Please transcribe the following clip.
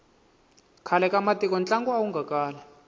khale ka matiko ntlangu awu nga kali